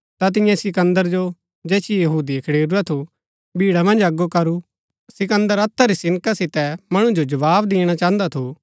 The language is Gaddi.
ता तिन्ये सिकन्दर जो जैसिओ यहूदिये खडेरू थु भीड़ा मन्ज अगो करू सिकन्दर हत्था री सिनका सितै मणु जो जवाव दिणा चाहन्दा थु